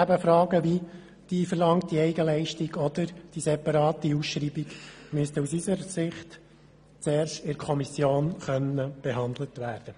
Gerade Fragen wie die verlangte Eigenleistung und die separate Ausschreibung müssten aus unserer Sicht zuerst in der Kommission behandelt werden.